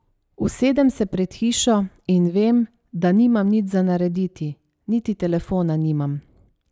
Usedem se pred hišo in vem, da nimam nič za narediti, niti telefona nimam.